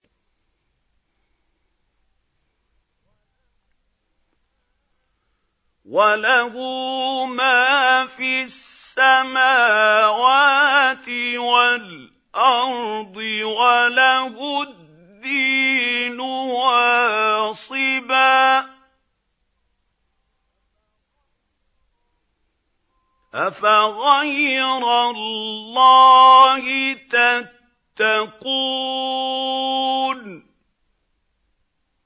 وَلَهُ مَا فِي السَّمَاوَاتِ وَالْأَرْضِ وَلَهُ الدِّينُ وَاصِبًا ۚ أَفَغَيْرَ اللَّهِ تَتَّقُونَ